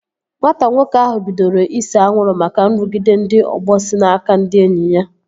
Nwata nwoke ahụ bidoro ise anwụrụ maka nrụgide ndị ọgbọ si n'aka ndị enyi ya